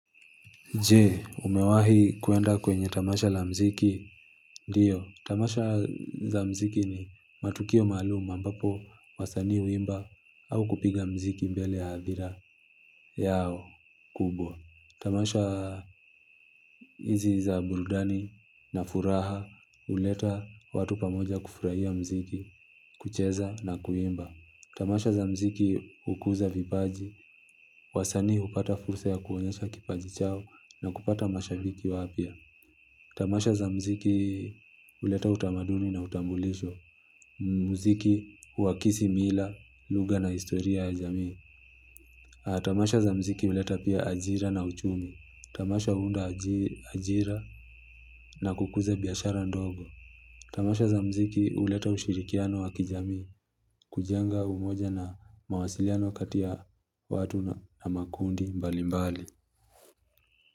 Je, umewahi kuenda kwenye tamasha la mziki? Ndio, tamasha za mziki ni matukio maalum ambapo wasanii huimba au kupiga mziki mbele ya hadhira yao kubwa. Tamasha hizi za burudani na furaha huleta watu pamoja kufurahia mziki, kucheza na kuimba. Tamasha za mziki hukuza vipaji, wasanii hupata fursa ya kuonyesha kipaji chao na kupata mashabiki wapya. Tamasha za mziki huleta utamaduni na utambulisho. Mziki huakisi mila, lugha na historia ya jamii. Tamasha za mziki huleta pia ajira na uchumi. Tamasha huunda ajira na kukuza biashara ndogo. Tamasha za mziki huleta ushirikiano wa kijamii kujenga umoja na mawasiliano kati ya watu na makundi mbalimbali.